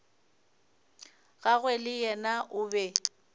gagwe le yena o be